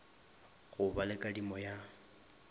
go ba le kadimo ya